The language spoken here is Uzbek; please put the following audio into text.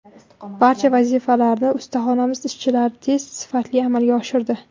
Barcha vazifalarni ustaxonamiz ishchilari tez, sifatli amalga oshirdi.